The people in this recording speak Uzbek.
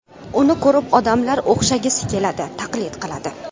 Uni ko‘rib odamlar o‘xshagisi keladi, taqlid qiladi.